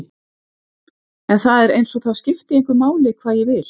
En það er einsog það skipti engu máli hvað ég vil.